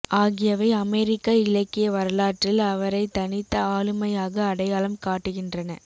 ஆகியவை அமெரிக்க இலக்கிய வரலாற்றில் அவரைத் தனித்த ஆளுமையாக அடையாளம் காட்டுகின்றன